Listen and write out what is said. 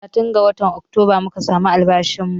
Talatin ga watan Oktoba muka samu albashin mu